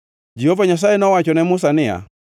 Jehova Nyasaye nowacho ne Musa niya,